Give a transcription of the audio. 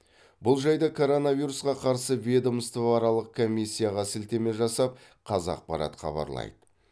бұл жайды коронавирусқа қарсы ведомствоаралық комиссияға слітеме жасап қазақпарат хабарлайды